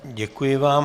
Děkuji vám.